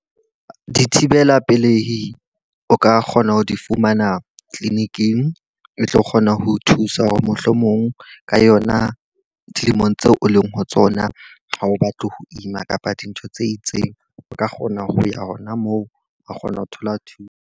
Dithibela pelehi o ka kgona ho di fumana clinic-ing e tlo kgona ho thusa hore mohlomong ka yona dilemong tseo o leng ho tsona ha o batle ho ima kapa dintho tse itseng, o ka kgona ho ya hona moo wa kgona ho thola thuso.